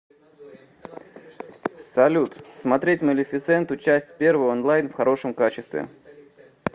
салют смотреть малефисенту часть первую онлайн в хорошем качестве